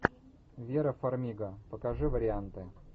вера фармига покажи варианты